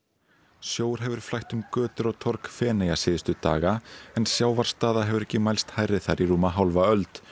sjór hefur flætt um götur og torg Feneyja síðustu daga en sjávarstaða hefur ekki mælst hærri þar í rúma hálfa öld